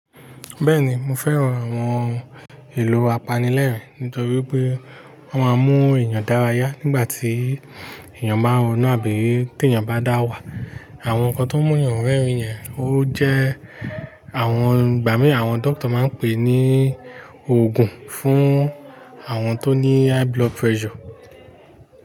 Bẹ́ẹ̀ni mo fẹ́ran àwọn èlò apanilẹ́rìn nítorí pé wọ́n máa ń mú èèyàn dárayá nígbà tí èèyàn bá ń ronú àbí tí èèyàn bá dá wà. Àwọn nǹkan tó mú èèyàn rẹ́rìn yẹn ó jẹ́ àwọn, ìgbà mí àwọn dókítà máa ń pè ní ògùn fún àwọn tó ní ìfúnpá gíga.